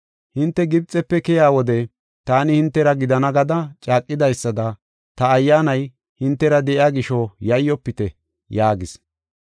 Hinte Gibxefe keyiya wode taani hintera gidana gada caaqidaysada ta Ayyaanay hintera de7iya gisho yayyofite!” yaagis.